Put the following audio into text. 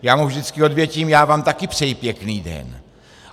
Já mu vždycky odvětím: Já vám taky přeji pěkný den.